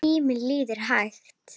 Tíminn líður hægt.